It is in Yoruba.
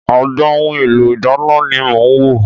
Agbọn ohun èlò ìdáná ni mò ń wò.